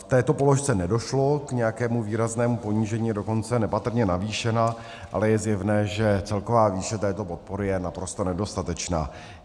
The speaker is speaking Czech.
V této položce nedošlo k nějakému výraznému ponížení, je dokonce nepatrně navýšena, ale je zjevné, že celková výše této podpory je naprosto nedostatečná.